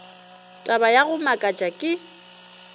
taba ya go makatša ke